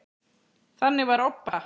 Þannig var Obba.